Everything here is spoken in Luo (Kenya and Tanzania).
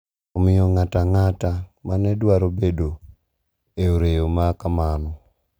Omiyo ng`at ang`ata ma ne dwaro bedo e oreya ma kamano,